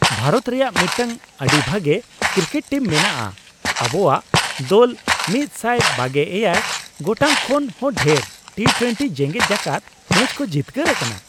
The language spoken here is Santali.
ᱵᱷᱟᱨᱚᱛ ᱨᱮᱭᱟᱜ ᱢᱤᱫᱴᱟᱝ ᱟᱹᱰᱤ ᱵᱷᱟᱜᱮ ᱠᱨᱤᱠᱮᱴ ᱴᱤᱢ ᱢᱮᱱᱟᱜᱼᱟ ᱾ ᱟᱵᱚᱣᱟᱜ ᱫᱚᱞ ᱑᱒᱗ ᱜᱚᱴᱟᱝ ᱠᱷᱚᱱ ᱦᱚᱸ ᱰᱷᱮᱨ ᱴᱤᱼᱴᱳᱣᱮᱱᱴᱤ ᱡᱮᱜᱮᱫ ᱡᱟᱠᱟᱛ ᱢᱮᱪ ᱠᱚ ᱡᱤᱛᱠᱟᱹᱨ ᱟᱠᱟᱱᱟ ᱾